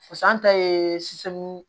ta ye